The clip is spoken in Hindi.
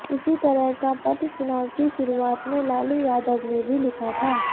इसी तरह का पत्र चुनाव की शुरुआत में लालू यादव ने भी लिखा था